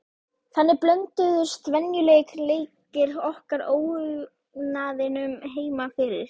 Þannig blönduðust venjulegir leikir okkar óhugnaðinum heima fyrir.